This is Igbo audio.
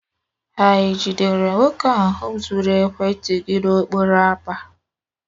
Hà jidere nwoke ahụ zuru ekwentị gị n'okporo ámá?